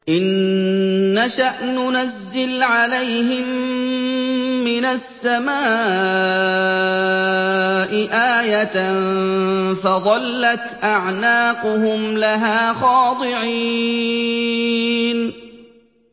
إِن نَّشَأْ نُنَزِّلْ عَلَيْهِم مِّنَ السَّمَاءِ آيَةً فَظَلَّتْ أَعْنَاقُهُمْ لَهَا خَاضِعِينَ